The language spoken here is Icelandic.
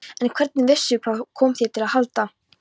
En hvernig vissirðu. hvað kom þér til að halda?